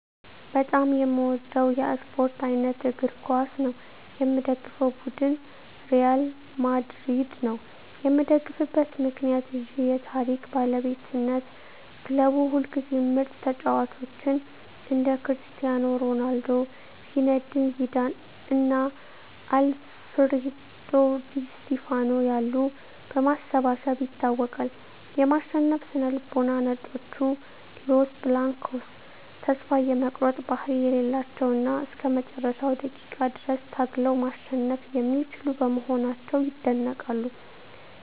በጣም የምወደው የስፓርት አይነት እግር ኳስ ነው። የምደግፈው ቡድን ሪያል ማድሪድ ነው። የምደግፍበት ምክንያት ዠ የታሪክ ባለቤትነት ክለቡ ሁልጊዜም ምርጥ ተጫዋቾችን (እንደ ክርስቲያኖ ሮናልዶ፣ ዚነዲን ዚዳን እና አልፍሬዶ ዲ ስቲፋኖ ያሉ) በማሰባሰብ ይታወቃል። የማሸነፍ ስነ-ልቦና "ነጮቹ" (Los Blancos) ተስፋ የመቁረጥ ባህሪ የሌላቸው እና እስከ መጨረሻው ደቂቃ ድረስ ታግለው ማሸነፍ የሚችሉ በመሆናቸው ይደነቃሉ።